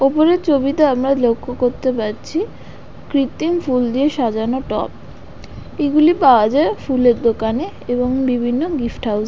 ওপরের ছবিতে আমরা লক্ষ্য করতে পারছি কৃত্তিম ফুল দিয়ে সাজানো টপ এগুলি পাওয়া যায় ফুলের দোকানে এবং বিভিন্ন গিফট হাউস --